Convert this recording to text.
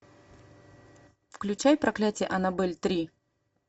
включай проклятие аннабель три